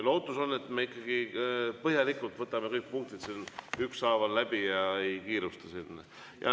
Lootus on, et me ikkagi põhjalikult võtame kõik punktid ükshaaval läbi ja ei kiirusta.